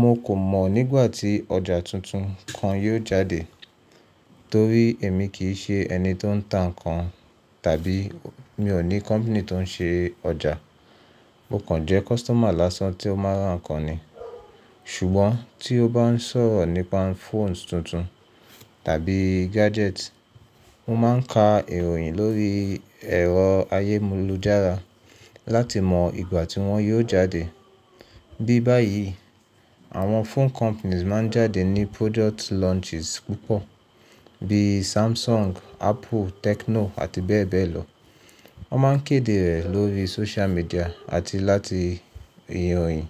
Mo kò mọ̀ nígbà tí ọjà tuntun kan yóò jáde, torí èmi kì í ṣe ẹni tó ń tà nǹkan, tàbí mi ò ní company tó ń ṣe ọjà. Mo kàn jẹ́ customer lásán tó máa rán ǹkan ni. Ṣùgbọ́n tí o bá ń sọ̀rọ̀ nípa phones tuntun tàbí gadgets, mo máa ń ka ìròyìn lórí ẹ̀rọ ayélujára láti mọ̀ ìgbà tí wọ́n yóò jáde. Bí báyìí, àwọn phone companies máa ń jáde ní product launches púpọ̀, bíi Samsung, Apple, Tecno abbl. Wọ́n máa ń kéde rẹ̀ lórí social media àti láti ìròyìn.